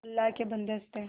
अल्लाह के बन्दे हंस दे